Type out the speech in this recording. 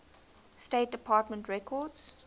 state department records